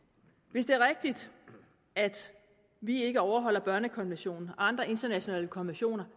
hvis det er rigtigt at vi ikke overholder børnekonventionen og andre internationale konventioner